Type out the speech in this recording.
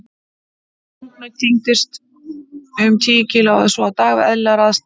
Ungnaut þyngist um kíló eða svo á dag við eðlilegar aðstæður.